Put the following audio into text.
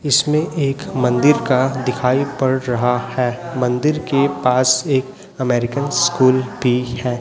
इसमें एक मंदिर का दिखाई पड़ रहा है मंदिर के पास में एक अमेरिकन स्कूल भी है।